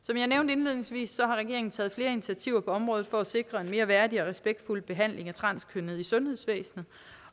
indledningsvis har regeringen taget flere initiativer på området for at sikre en mere værdig og respektfuld behandling af transkønnede i sundhedsvæsenet